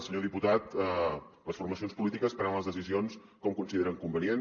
senyor diputat les formacions polítiques prenen les decisions com consideren convenient